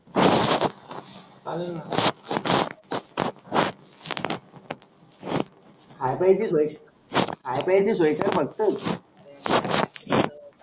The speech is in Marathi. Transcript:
चालेल सोया कर फक्त.